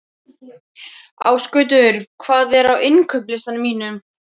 Ásgautur, hvað er á innkaupalistanum mínum?